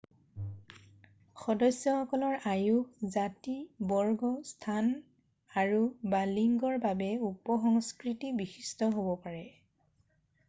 সদস্যসকলৰ আয়ুস জাতি বৰ্গ স্থান আৰু/বা লিংগৰ বাবে উপসংস্কৃতি বিশিষ্ট হব পাৰে।